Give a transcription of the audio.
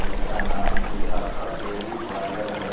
इसका नाम Vishakha dairy parlour है।